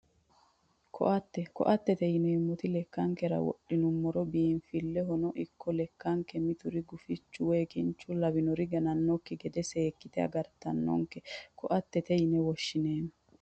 Koatte koattete yineemmoti lekkankera wodhinummoro biinfillehono ikko lekkanke mituri guficho woyi kincho lawannori ganannosekki gede seekkite agartannonketa koattete yine woshshineemmo